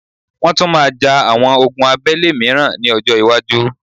Wọ́́n tún máa ja àwọn ogun abẹ́lé mìíràn ní ọjọ́-iwájú.